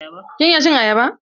Kin iya cin ayaba?